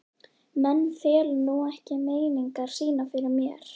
Menn fela nú ekki meiningar sínar fyrir mér.